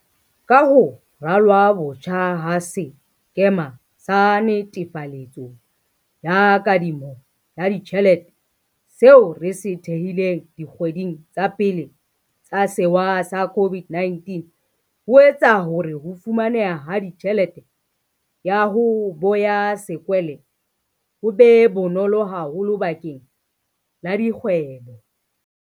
Ka ho ralwa botjha ha sekema sa netefaletso ya kadimo ya ditjhelete, seo re se thehileng dikgweding tsa pele tsa sewa sa COVID-19, ho etsa hore ho fumaneha ha tjhelete ya 'ho boya sekwele' ho be bonolo haholo bakeng la dikgwebo.